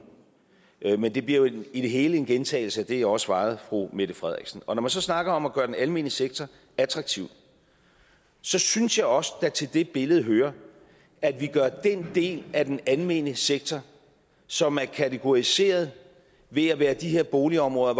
men det bliver jo i det hele en gentagelse af det jeg også svarede fru mette frederiksen når man så snakker om at gøre den almene sektor attraktiv synes jeg også der til det billede hører at vi ændrer den del af den almene sektor som er kategoriseret ved at være de her boligområder